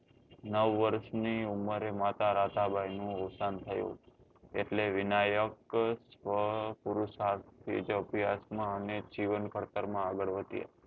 નવ વર્ષ ની ઉમરે માતા રાતા બાઈ નું અવસાન થયું એટલે વિનાયક સ્વ પુરુષાર્થી પેટે અભ્યાસ માં અને જીવન કરતર માં આગળ વધ્યા